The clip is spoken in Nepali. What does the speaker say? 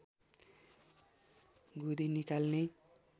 गुदी निकाल्ने